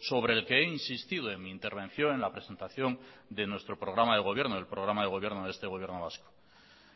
sobre el que he insistido en mi intervención en la presentación de nuestro programa de gobierno del programa de gobierno de este gobierno vasco